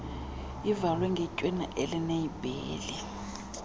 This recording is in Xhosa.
ivalwe ngetywina elineleyibheli